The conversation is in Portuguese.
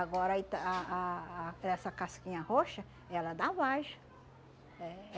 Agora, a ita ah ah ah essa casquinha roxa, ela dá vagem. É.